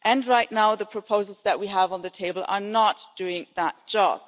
Right now, the proposals that we have on the table are not doing that job